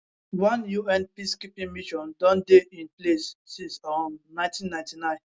one un peacekeeping mission don dey in in place since um 1999